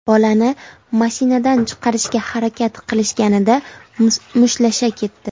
Bolani mashinadan chiqarishga harakat qilishganida mushtlasha ketdi.